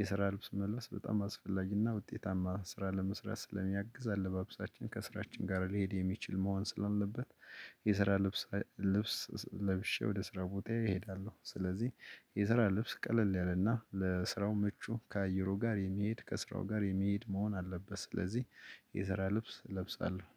የስራ ልብስ መልበስ በጣም አስፈላጊና ውጤታማ ስራ ለመስራት ስለሚያግዝ አለባብሳችን ከስራችን ጋር ሊሄድ የሚችል መሆን ስላለበት። የስራ ልብስ ልብስ ለብሼ ወደ ስራ ቦታዬ እሄዳለው። ስለዚህ የስራ ልብስ ቀለል ያለና ለስራው ምቹ ከአየሩ ጋር የሚሄድ ከስራው ጋር የሚሄድ መሆን አለበት። ስለዚህ የዘራ ልብስ እለብሳለው።